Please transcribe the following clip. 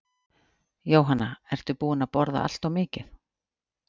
Jóhanna: Ertu búinn að borða allt of mikið?